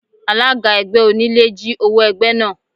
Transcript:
Alága ẹgbẹ́ onílé jí owó ẹgbẹ́ náà.